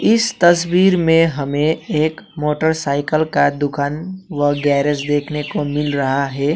इस तस्वीर में हमें एक मोटरसाइकल का दुकान व गैरेज देखने को मिल रहा है।